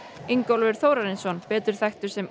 Ingólfur Þórarinsson betur þekktur sem